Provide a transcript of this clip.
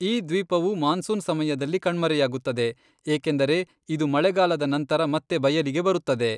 ಈ ದ್ವೀಪವು ಮಾನ್ಸೂನ್ ಸಮಯದಲ್ಲಿ ಕಣ್ಮರೆಯಾಗುತ್ತದೆ, ಏಕೆಂದರೆ ಇದು ಮಳೆಗಾಲದ ನಂತರ ಮತ್ತೆ ಬಯಲಿಗೆ ಬರುತ್ತದೆ.